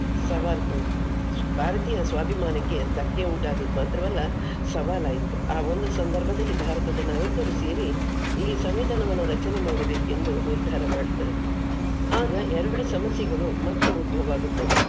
ಸವಾಲ್ ಭಾರತೀಯ ಸ್ವಾಭಿಮಾನಕ್ಕೆ ಧಕ್ಕೆ ಉಂಟಾದದ್ದು ಮಾತ್ರವಲ್ಲ ಸವಾಲ್ ಆಯ್ತು. ಆ ಒಂದು ಸಂದರ್ಭದಲ್ಲಿ ಭಾರತದ ನಾಯಕರು ಸೇರಿ ಈ ಸಂವಿಧಾನವನ್ನ ರಚನೆ ಮಾಡ್ಬೇಕೆಂದು ನಿರ್ಧಾರ ಮಾಡುತ್ತಾರೆ. ಆಗ ಎಲ್ರ ಸಮಸ್ಯೆಗಳು ಮತ್ತೆ ಉದ್ಭವ ಆಗುತ್ತದೆ.